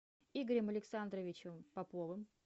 игорем александровичем поповым